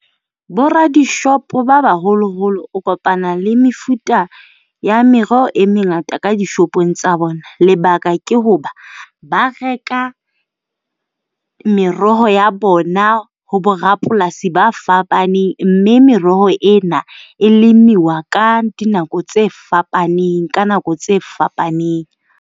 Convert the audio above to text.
Boradishopo ba baholo-holo o kopana le mefuta ya meroho e mengata ka dishopong tsa bona, Lebaka ke hoba ba reka meroho ya bona ho borapolasi ba fapaneng. Mme meroho ena e lemiwa ka dinako tse fapaneng, ka nako tse fapaneng.